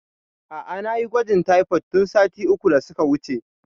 A'a nayi gwajin taifod tun sati uku da suka wuce